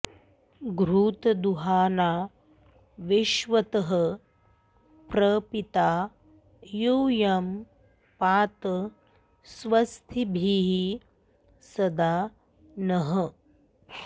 घृ॒तं दुहा॑ना वि॒श्वतः॒ प्रपी॑ता यू॒यं पा॑त स्व॒स्तिभिः॒ सदा॑ नः